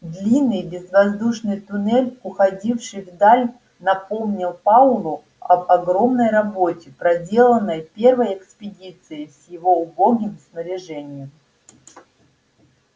длинный безвоздушный туннель уходивший вдаль напомнил пауэллу об огромной работе проделанной первой экспедицией с его убогим снаряжением